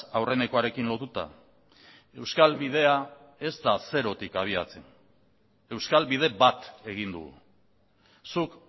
aurrenekoarekin lotuta euskal bidea ez da zerotik abiatzen euskal bide bat egin dugu zuk